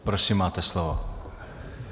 Prosím, máte slovo.